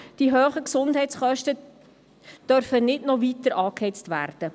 Die hohen Gesundheitskosten dürfen nicht weiter angeheizt werden.